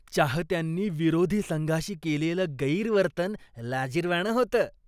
चाहत्यांनी विरोधी संघाशी केलेलं गैरवर्तन लाजिरवाणं होतं.